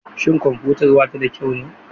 Shin kwamfutar ba ta da kyau ne?